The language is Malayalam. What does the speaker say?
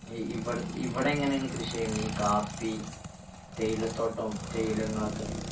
ഈ ഇവിടത്തെ ഇവിടെ എങ്ങനെയാണ് കൃഷി ചെയ്യുന്നെ ഈ കാപ്പി തേയിലത്തോട്ടം തേയിലകളൊക്കെ